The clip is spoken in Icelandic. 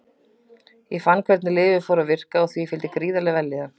Ég fann hvernig lyfið fór að virka og því fylgdi gríðarleg vellíðan.